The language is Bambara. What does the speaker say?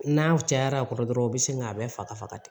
N'a cayara a kɔrɔ dɔrɔn u bɛ sin k'a bɛɛ faga faga